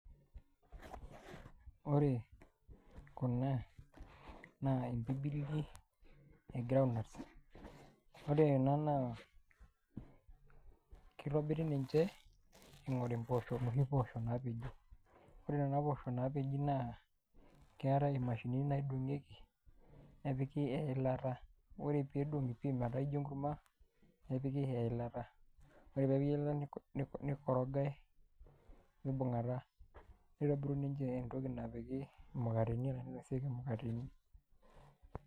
Ore kuna na imbibili egirai ,ore ena na kitobiri ninche ingori noshi poosho nap ji ore nona poosho napeji keetae mashinini naidongieki nepiki eilata ,nidongi pii metaa ijo enkurma nepiki eilata, ore pepiki eilata nikorogae mibungata, nitobiruni entoki napiki mukateni ashu naisotieki mkateni.